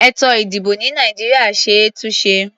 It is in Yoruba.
Ètò-ìdìbò ní Nàìjíríà ṣe é túnṣe.